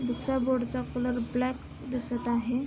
दुसऱ्या बोर्ड चा colour black दिसत आहे.